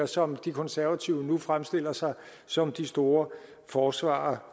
som de konservative nu fremstiller sig som de store forsvarere